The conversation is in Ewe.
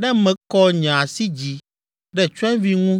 ne mekɔ nye asi dzi ɖe tsyɔ̃evi ŋu,